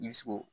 I bɛ se k'o